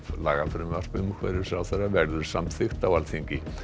lagafrumvarp umhverfisráðherra verður samþykkt á Alþingi